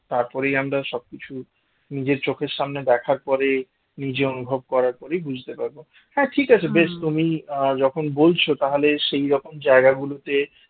তারপরেই আমরা সবকিছু নিজের চোখের সামনে দেখার পরে নিজে অনুভব করার পরেই বুঝতে পারবো হ্যাঁ ঠিক আছে বেশ তুমি আহ যখন বলছ তাহলে সেই রকম জায়গাগুলোতে